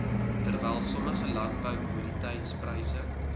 terwyl sommige landboukommoditetispryse